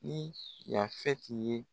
Ni Yasɛti ye.